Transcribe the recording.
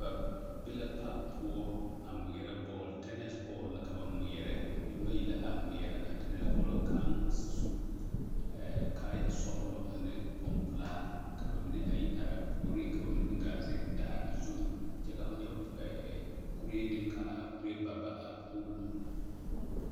Ba be la paki poɔ a ŋmeɛrɛ bɔɔl, tɛnɛse bɔɔl la ka ba ŋmeɛrɛ, nembayi la ŋmeɛrɛ a tɛnɛse bɔɔl ka kaŋ su kaaya sɔgelɔ ane bompelaa ka ba mine a yi are a puoriŋ ka ba mine meŋ gaa zeŋ daare zu kyɛ ka ho nyɛ kuree meŋ k'a kuree baba a pool.